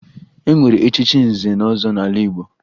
E nwere echichi nze na ọzọ n'ala Igbo